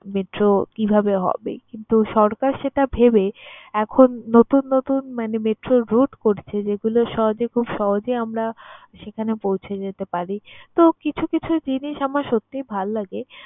metro কিভাবে হবে কিন্তু সরকার সেটা ভেবে এখন নতুন নতুন মানে metro র রুট হচ্ছে যেগুলো সহজে, খুব সহজেই আমরা সেখানে পৌঁছে যেতে পারি। তো, কিছু কিছু জিনিস আমার সত্যিই ভাল লাগে